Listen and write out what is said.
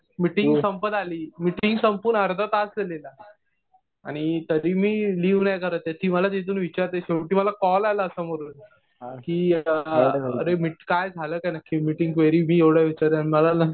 Meeting संपत आली. Meeting संपून अर्धा तास झालेला.आणि तरी मी लिव नाही झालेलो. मला तिथून विचरतायेत. शेवटी मला कॉल आला समोरून. कि अरे काय झालं काय नक्की मिटिंग क्वेरी मी एवढं विचारतोय आणि मला